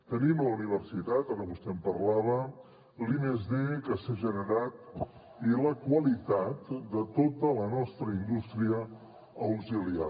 tenim la universitat ara vostè en parlava l’i+d que s’ha generat i la qualitat de tota la nostra indústria auxiliar